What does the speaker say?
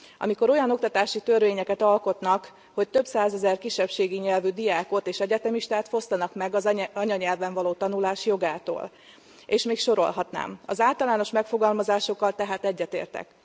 Amikor olyan oktatási törvényeket alkotnak, hogy több százezer kisebbségi nyelvű diákot és egyetemistát fosztanak meg az anyanyelven való tanulás jogától és még sorolhatnám az általános megfogalmazásokkal tehát egyetértek.